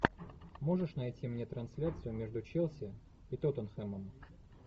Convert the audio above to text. можешь найти мне трансляцию между челси и тоттенхэмом